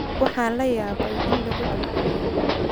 Waxaan la yaabay in lagu celceliyo